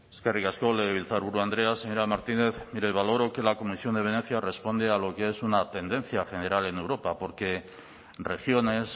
eskerrik asko legebiltzarburu andrea señora martínez mire valoro que la comisión de venecia responde a lo que es una tendencia general en europa porque regiones